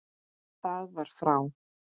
Það var frá